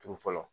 Turu fɔlɔ